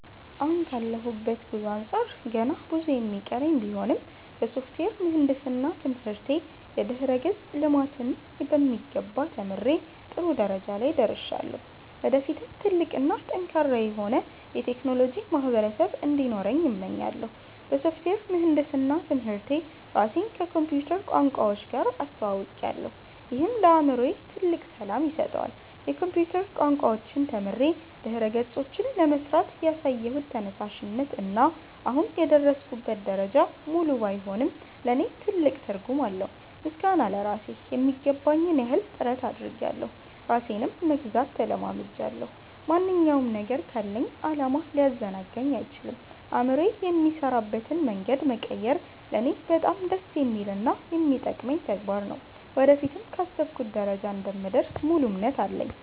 አሁን ካለሁበት ጉዞ አንጻር ገና ብዙ የሚቀረኝ ቢሆንም፣ በሶፍትዌር ምህንድስና ትምህርቴ የድረ-ገጽ ልማትን በሚገባ ተምሬ ጥሩ ደረጃ ላይ ደርሻለሁ። ወደፊትም ትልቅ እና ጠንካራ የሆነ የቴክኖሎጂ ማህበረሰብ እንዲኖረኝ እመኛለሁ። በሶፍትዌር ምህንድስና ትምህርቴ ራሴን ከኮምፒውተር ቋንቋዎች ጋር አስተውውቄያለሁ፤ ይህም ለአእምሮዬ ትልቅ ሰላም ይሰጠዋል። የኮምፒውተር ቋንቋዎችን ተምሬ ድረ-ገጾችን ለመሥራት ያሳየሁት ተነሳሽነት እና አሁን የደረስኩበት ደረጃ፣ ሙሉ ባይሆንም ለእኔ ትልቅ ትርጉም አለው። ምስጋና ለራሴ ....የሚገባኝን ያህል ጥረት አድርጌያለሁ ራሴንም መግዛት ተለማምጃለሁ። ማንኛውም ነገር ካለኝ ዓላማ ሊያዘናጋኝ አይችልም። አእምሮዬ የሚሠራበትን መንገድ መቀየር ለእኔ በጣም ደስ የሚልና የሚጠቅመኝ ተግባር ነው። ወደፊትም ካሰብኩበት ደረጃ እንደምደርስ ሙሉ እምነት አለኝ።